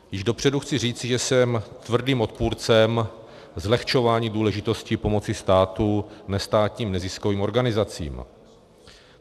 Již dopředu chci říci, že jsem tvrdým odpůrcem zlehčování důležitosti pomoci státu nestátním neziskovým organizacím.